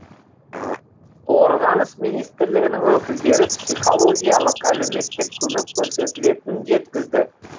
қорғаныс министрлігінің өкілдері психологиялық әлеуметтік көмек көрсетілетінін жеткізді